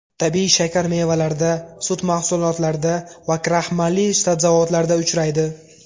Tabiiy shakar mevalarda, sut mahsulotlarida va kraxmalli sabzavotlarda uchraydi.